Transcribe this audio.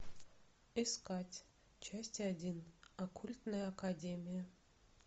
искать часть один оккультная академия